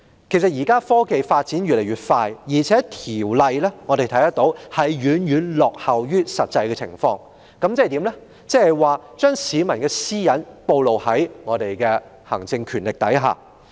現時科技發展越來越快，我們看到相關條例已遠遠落後於實際情況，變相令市民的私隱暴露於行政權力之下。